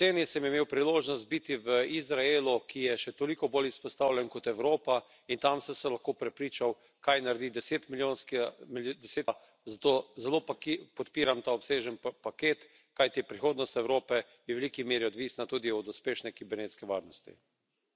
Jeseni sem imel priložost biti v Izraelu, ki je še toliko bolj izpostavljen kot Evropa, in tam sem se lahko prepričal, kaj naredi desetmilijonska država, zato zelo podpiram ta obsežni paket, kajti prihodnost Evrope je v veliki meri odvisna tudi od uspešne kibernetske varnosti.